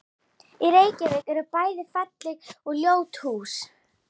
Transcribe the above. Í Reykjavík eru bæði falleg og ljót hús.